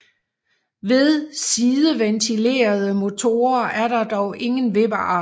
Ved sideventilede motorer er der dog ingen vippearm